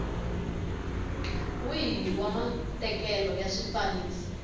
wihi wa matekelo ya swifaniso